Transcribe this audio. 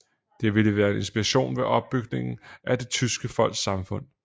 Det ville være en inspiration ved opbygningen af det tyske folks samfund